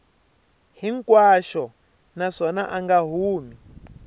hinkwaxo naswona a nga humi